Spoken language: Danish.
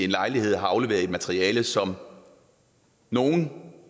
lejlighed har afleveret et materiale som nogle